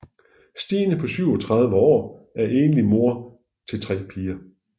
Stine på 37 år er enlig mor til tre piger